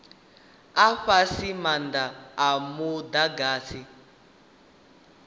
a fhasi maanda a mudagasi